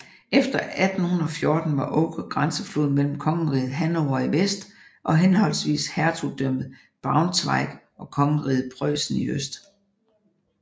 Efter 1814 var Oker grænseflod mellem kongeriget Hannover i vest og henholdsvis hertugdømmet Braunschweig og kongeriget Preussen i øst